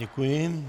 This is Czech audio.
Děkuji.